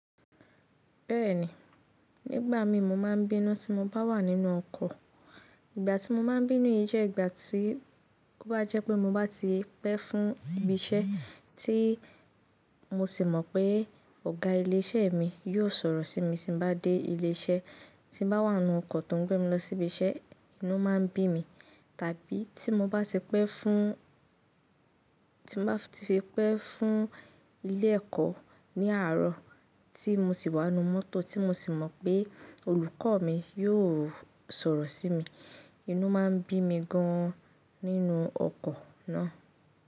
Bẹ́ẹ̀ni, nígbà mi mo máa ń bínú tí mo bá wà nínú ọkọ̀. Ìgbà tí mo máa ń bínú yìí jẹ́ ìgbà tí ó bá jẹ́ pé mo bá ti pẹ́ fún ibi iṣẹ́ tí mo sì mọ̀ pé ọ̀gá ilé iṣẹ́ mi yóò sọ̀rọ̀ sí mi tí mo bá dé ilé iṣẹ́, tí mo bá wà nínú ọkọ̀ tó ń gbé mi lọ sí ibi iṣẹ́, inú máa ń bí mi, tàbí tí mo bá ti pẹ́ fún, tí mo bá ti fi pẹ́ fún ilé ẹ̀kọ́ ní àárọ̀ tí mo sì wà nínú mọ́tò tí mo sì mọ̀ pé olùkọ́ mi yóò sọ̀rọ̀ sí mi, inú máa ń bí mi gan an nínú ọkọ̀ náà.